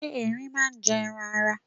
Ṣé Ẹrin máa ń jẹ ẹran ara?